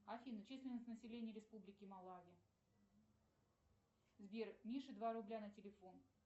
афина численность населения республики малавия сбер мише два рубля на телефон